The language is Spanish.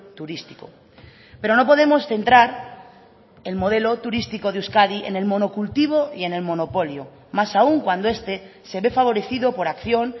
turístico pero no podemos centrar el modelo turístico de euskadi en el monocultivo y en el monopolio más aun cuando este se ve favorecido por acción